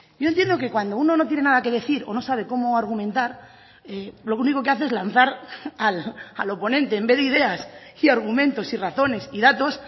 yo entiendo que cuando uno no tiene nada que decir o no sabe cómo argumentar lo único que hace es lanzar al oponente en vez de ideas y argumentos y razones y datos